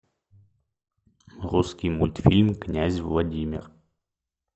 русский мультфильм князь владимир